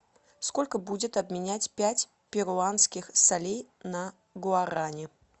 сколько будет обменять пять перуанских солей на гуарани